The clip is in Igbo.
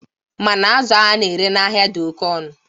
Mana azụ a na-ere n'ahịa dị oke ọnụ.